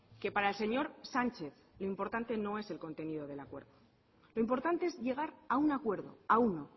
que para el señor sánchez lo importante no es el contenido del acuerdo lo importante es llegar un acuerdo a uno